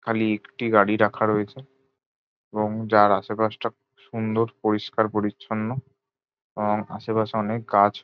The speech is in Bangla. খালি একটি গাড়ি রাখা রয়েছে এবং যার আশেপাশটা খুব সুন্দর পরিষ্কার পরিচ্ছন্ন আর আশেপাশে অনেক গাছ।